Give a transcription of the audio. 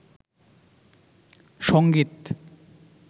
সঙ্গীত